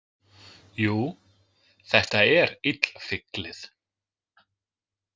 Jú, þetta er illfyglið